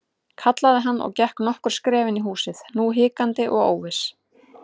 kallaði hann og gekk nokkur skref inn í húsið, nú hikandi og óviss.